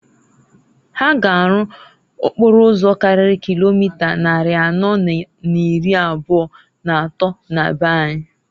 Ha ga arụ okporo ụzọ karịrị kilomita nnarị anọọ na n'ịrị abụa n'atọọ na be anyị.